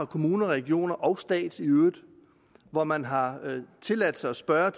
kommuner regioner og staten i øvrigt hvor man har tilladt sig at spørge